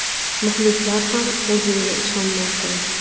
Muxlislar ham O‘zilga ishonmay qo‘ydi.